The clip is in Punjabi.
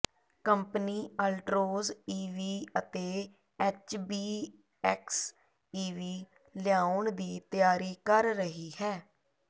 ਕੰਪਨੀ ਅਲਟ੍ਰੋਜ਼ ਈਵੀ ਅਤੇ ਐਚਬੀਐਕਸ ਈਵੀ ਲਿਆਉਣ ਦੀ ਤਿਆਰੀ ਕਰ ਰਹੀ ਹੈ